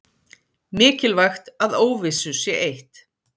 Mikilvægt að óvissu sé eytt